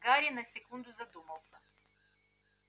гарри на секунду задумался